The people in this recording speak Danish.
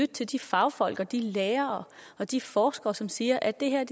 til de fagfolk og de lærere og de forskere som siger at det her